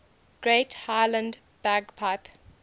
great highland bagpipe